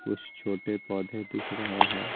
कुछ छोटे पौधे दिख रहे हैं।